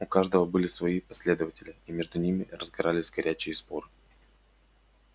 у каждого были свои последователи и между ними разгорались горячие споры